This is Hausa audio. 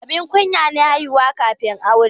Abun kunya ne haihuwa kafin aure.